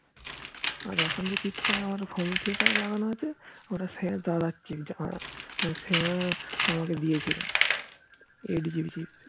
আর এখন যেই chip তা আমার phone এ লাগানো আছে সেটা আমার দাদার chip সেজদা আমাকে দিয়েছিলো 8 GB chip